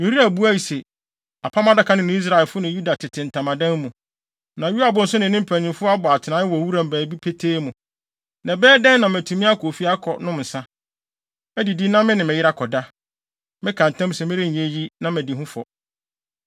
Uria buae se, “Apam Adaka no ne Israel asraafo ne Yuda tete ntamadan mu, na Yoab nso ne ne mpanyimfo abɔ atenae wɔ wuram baabi petee mu. Na ɛbɛyɛ dɛn na matumi akɔ fie akɔnom nsa, adidi na me ne me yere akɔda? Meka ntam se merenyɛ eyi na madi ho fɔ.”